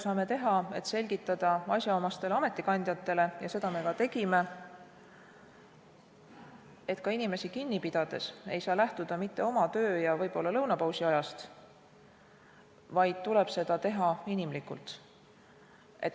Saame asjaomastele ametikandjatele selgitada – seda me ka tegime –, et inimesi kinni pidades ei saa lähtuda mitte oma töö- ja võib-olla lõunapausiajast, vaid tuleb seda teha inimlikult.